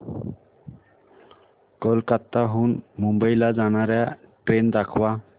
कोलकाता हून मुंबई ला जाणार्या ट्रेन दाखवा